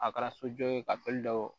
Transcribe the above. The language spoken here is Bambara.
A kɛra sojɔ ye ka bali ka don wo